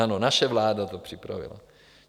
Ano, naše vláda to připravila.